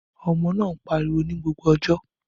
Ọmọ náà ń pariwo ní gbogbo ọjọ́